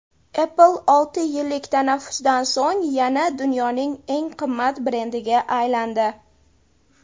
Apple olti yillik tanaffusdan so‘ng yana dunyoning eng qimmat brendiga aylandi.